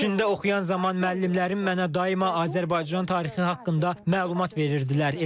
Çində oxuyan zaman müəllimlərim mənə daima Azərbaycan tarixi haqqında məlumat verirdilər.